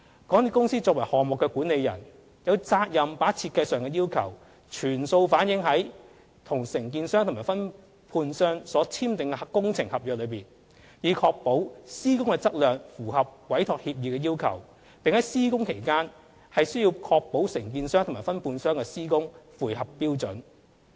港鐵公司作為項目管理人，有責任把設計上的要求，全數反映在與承建商和分判商所簽訂的工程合約內，以確保施工的質量符合委託協議的要求，並須在施工期間確保承建商和分判商的施工符合標準。